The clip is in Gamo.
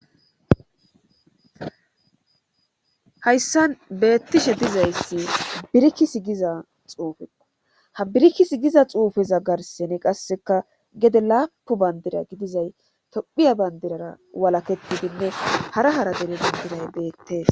hayssan beettishe dizayssi birikki sigiza xuufeo ha birikki sigiza xuufeza garsene qasseka gede laapu bandira gidizay tophiya bandirara walaketidinne hara hara dere bindiray beettes